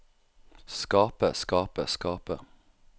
skape skape skape